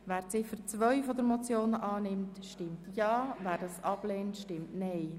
Wer diese annimmt, stimmt Ja, wer diese ablehnt, stimmt Nein.